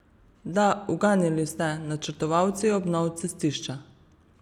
Da, uganili ste, načrtovalci obnov cestišča.